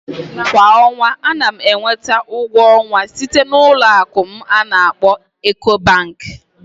Kwa ọnwa, ana m enweta ụgwọ ọnwa site na Ụlọ akụ'm ana akkpo Ecobank